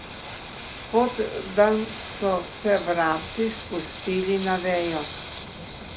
Kot da so se vrabci spustili na vejo.